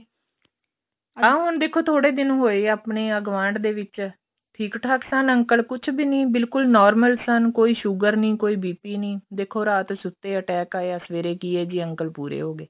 ਆ ਹੁਣ ਦੇਖੋ ਥੋੜੇ ਦਿਨ ਹੋਏ ਆ ਆਪਣੇ ਗੁਆਂਢ ਦੇ ਵਿੱਚ ਠੀਕ ਠਾਕ ਸਨ uncle ਕੁੱਝ ਵੀ ਨੀ ਬਿਲਕੁਲ normal ਸਨ ਕੋਈ sugar ਨੀ ਕੋਈ BP ਨੀ ਦੇਖੋ ਰਾਤ ਸੁੱਤੇ ਆ attack ਆਇਆ ਸਵੇਰੇ ਕੀ ਏ ਜੀ uncle ਪੂਰੇ ਹੋ ਗਏ